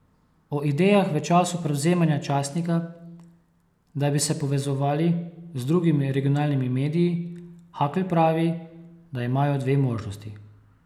O idejah v času prevzemanja časnika, da bi se povezovali z drugimi regionalnimi mediji, Hakl pravi, da imajo dve možnosti.